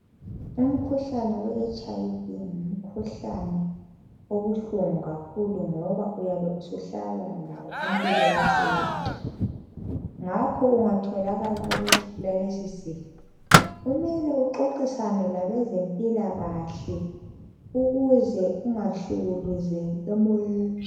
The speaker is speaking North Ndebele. Umkhuhlane we HIV ngumkhuhlane obuhlungu kakhulu ngoba uyabe usuhlala lawo impilo yakho yonke. Ngakho ungatholakala ukuthi ulalesi sifo kumele uxoxisane labezempilakahle ukuze ungahlukuluzeki emoyeni.